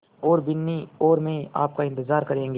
और बिन्नी और मैं आपका इन्तज़ार करेंगे